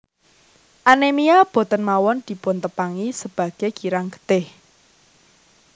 Anemia boten mawon dipun tepangi sebage kirang getih